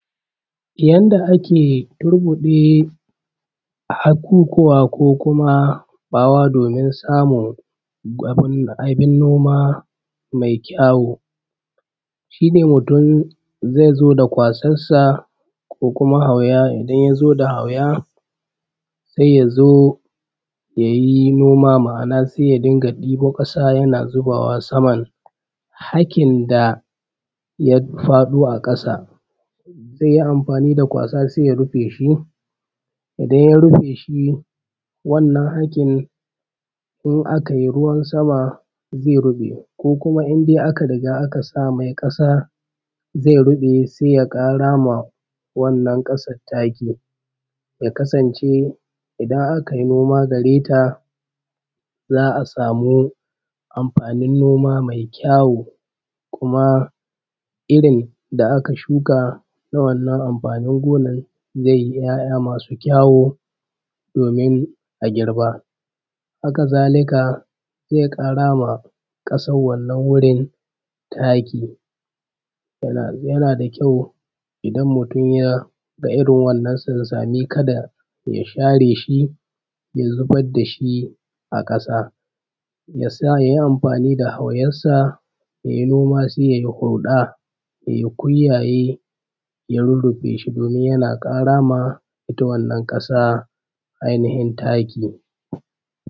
yanda ake turkude hakukuwa ko kuma bawa domin samun abun noma mai kyawu shine mutn zai zo da kwasassa ko kuma auya idan yazo da auya sai ya yayi noma ma’ana saya dunga debo kasa yana zubawa saman hakin da ya fado a kasa zaiyi amfani da kwasa saiya rufeshi idan ya rufeshi wannan hakin in akai ruwan sama zai rube zaiyi ko kuma indai aka riga a kasa mai kasa zai rube sai ya karama wannan kasan taki taki ya kasan ce idan akai noma gareta za’a samu amfanin noma mai kyawo kuma irrin da aka shuka na wannan amfanin gonan zai ya ya mai kyawo domin a girba haka zalika zai karama wannan wurin taki yana da kyau idan mutun yaga irrin wannan sansani kada ya ya share shi ya zubar dashi a kasa yasa yayi amfaniʤ da hauyansa yayi noma sai yayi huda yai kunya ya rurrufeshi domin yana karama itta wanna kasa ai nihin taki